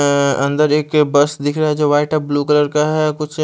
अ अंदर एक बस दिखरा है जो वाइट और ब्लू कलर का है कुछ --